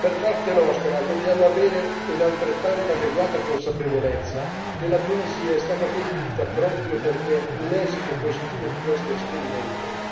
Da parte nostra dobbiamo avere una altrettanto adeguata consapevolezza che la Tunisia è stata colpita proprio perché un esito positivo di questo esperimento